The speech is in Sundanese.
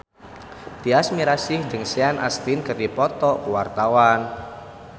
Tyas Mirasih jeung Sean Astin keur dipoto ku wartawan